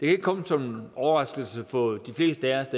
ikke komme som en overraskelse for de fleste af os